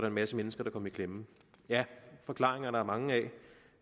en masse mennesker der kom i klemme ja forklaringer er der mange af